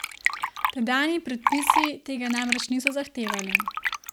Tedanji predpisi tega namreč niso zahtevali.